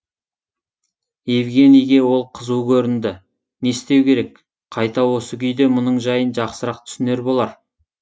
евгенийге ол қызу көрінді не істеу керек қайта осы күйде мұның жайын жақсырақ түсінер болар